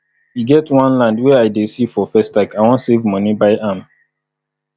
e get one land wey i dey see for festac i wan save money buy am